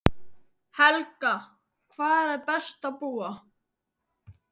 Helga: Hvar er best að búa?